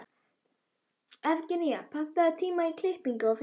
Evgenía, pantaðu tíma í klippingu á fimmtudaginn.